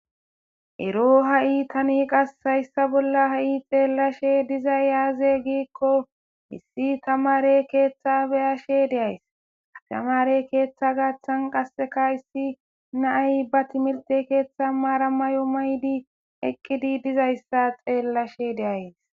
Eroo hayi tani qasi bolla xellishshe dizayi azee gikko issi tamare keththa be'ashshe de'ayis.tamare keththa gaththanni qasekka hayissi na'ayi baa timirtte keththanni mara mayo mayidi eqqidi dizayissa xeelashshe dayis.